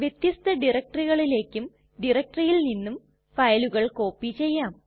വ്യത്യസ്ത directoryകളിലേക്കും directoryയിൽ നിന്നും ഫയലുകൾ കോപ്പി ചെയ്യാം